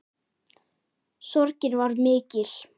Sorgin var mikil.